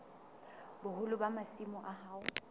boholo ba masimo a hao